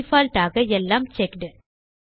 default ஆக எல்லாம் checked